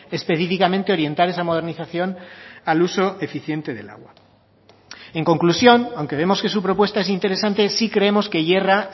específicamente orientar esa modernización al uso eficiente del agua en conclusión aunque vemos que su propuesta es interesante sí creemos que yerra